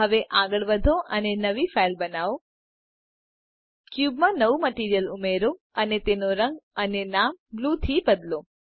હવે આગળ વધો અને નવી ફાઈલ બનાઓ ક્યુબ માં નવું મટીરીઅલ ઉમેરો અને તેનો રંગ અને નામ બ્લૂ થી બદલો